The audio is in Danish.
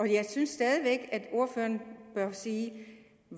jeg synes stadig væk at ordføreren bør sige